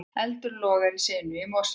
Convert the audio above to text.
Eldur logar í sinu í Mosfellsbæ